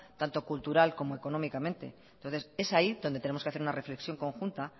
tanto cultural como económicamente entonces es ahí donde tenemos que hacer una reflexión conjunta